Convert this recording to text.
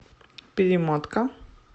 перемотка